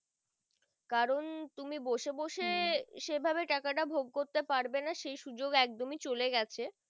কারণ তুমি বসে বসে সেভাবে টাকা তা ভোগ করতে পারবে না সেই সুযোগ একদমই চলে গিয়েছে